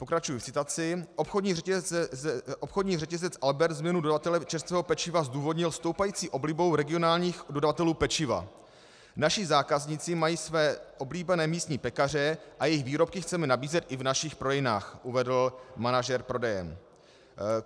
Pokračuji v citaci: "Obchodní řetězec Albert změnu dodavatele čerstvého pečiva zdůvodnil stoupající oblibou regionálních dodavatelů pečiva: 'Naši zákazníci mají své oblíbené místní pekaře a jejich výrobky chceme nabízet i v našich prodejnách,' uvedl manažer prodejen."